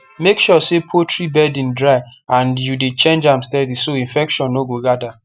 make sure say poultry bedding dry and you dey change am steady so infection no go gather